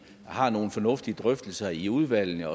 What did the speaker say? har nogle fornuftige drøftelser i udvalgene